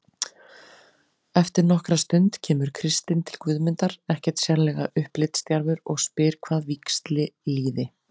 Eftir nokkra stund kemur Kristinn til Guðmundar, ekkert sérlega upplitsdjarfur, og spyr hvað víxli líði.